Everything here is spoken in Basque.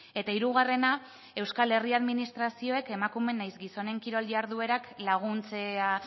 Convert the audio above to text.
eta hirugarrena euskal herria administrazioek emakume nahiz gizonen kirol jarduerak laguntzea